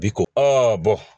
Bi ko